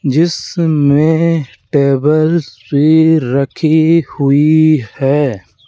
जिसमें टेबल्स भी रखी हुई है।